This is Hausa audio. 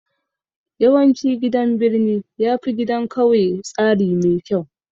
Yawancin gidan birni yafi gidan kauye tsari mai kyau